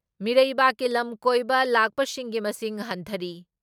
ꯃꯤꯔꯩꯕꯥꯛꯀꯤ ꯂꯝ ꯀꯣꯏꯕ ꯂꯥꯛꯄꯁꯤꯡꯒꯤ ꯃꯁꯤꯡ ꯍꯟꯊꯔꯤ ꯫